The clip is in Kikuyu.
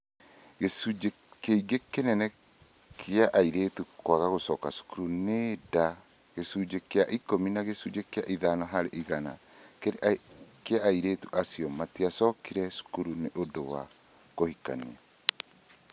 Gĩtũmi kĩngĩ kĩnene gĩa airĩtu kwaga gũcoka cukuru nĩ nda gĩcunjĩ kĩa ikũmi na gĩcunjĩ kĩa ithano harĩ igana kĩa airĩtu acio matiacokire cukuru nĩ ũndũ wa kũhikania.